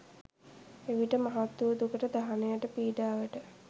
එවිට මහත් වූ දුකට, දහනයට, පීඩාවට